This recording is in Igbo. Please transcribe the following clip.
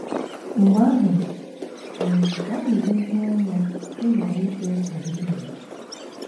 Mgbe ahụ um, ka anyị lezie anya ịghara ikwe nkwa nzuzu.